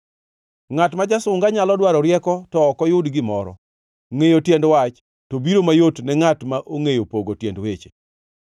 Ngʼat ma jasunga nyalo dwaro rieko to ok oyud gimoro, ngʼeyo tiend wach to biro mayot ne ngʼat ma ongʼeyo pogo tiend weche.